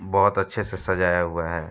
बहोत अच्छे से सजाया हुआ है।